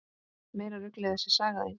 Meira ruglið þessi saga þín!